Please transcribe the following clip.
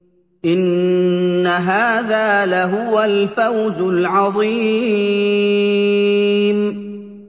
إِنَّ هَٰذَا لَهُوَ الْفَوْزُ الْعَظِيمُ